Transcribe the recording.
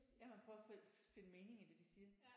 Ja man prøver at finde mening i det de siger